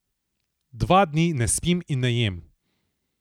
Dva dni ne spim in ne jem.